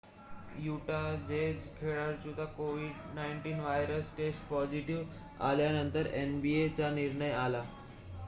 Utah Jazz खेळाडूची कोविड-19 virus test positive आल्यानंतर nba चा निर्णय आला